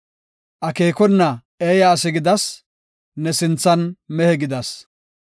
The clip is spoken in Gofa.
akeekona eeya asi gidas; ne sinthan mehe gidas.